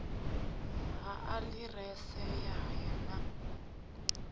ha aḓirese ya haya na